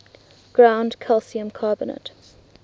ground calcium carbonate